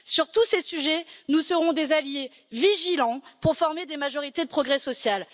Sur tous ces sujets, nous serons des alliés vigilants pour former des majorités de progrès social.